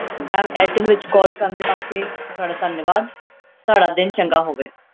Ma'am Airtel ਵਿੱਚ call ਕਰਨ ਦੇ ਵਾਸਤੇ ਤੁਹਾਡਾ ਧੰਨਵਾਦ, ਤੁਹਾਡਾ ਦਿਨ ਚੰਗਾ ਹੋਵੇ।